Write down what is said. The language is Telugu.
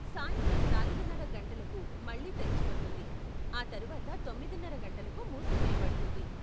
సాయంత్రం నాలుగున్నర గంటలకు మళ్ళీ తెరుచుకుంటుంది, ఆ తర్వాత తొమ్మిదిన్నర గంటలకు మూసివేయబడుతుంది.